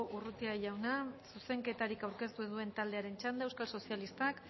urrutia jauna zuzenketarik aurkeztu ez duen taldearen txanda euskal sozialistak